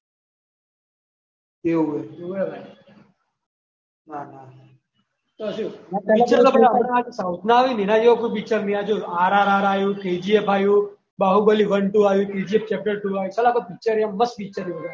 ના ના તો શું? એના જેવા કોઈ પિક્ચર નહીં આયા RRR આયુ KGF આયુ બાહુબલીબાર આયુ KGF ચેપ્ટર આયુ. બરાબર મસ્ત પિક્ચર છ.